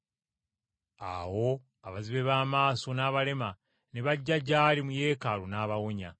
Awo abazibe b’amaaso n’abalema ne bajja gy’ali mu Yeekaalu n’abawonya.